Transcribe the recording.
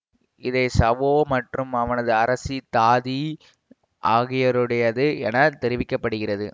இவை சாவோ மற்றும் அவனது அரசி தாதி ஆகியோருடையது என தெரிவிக்க படுகிறது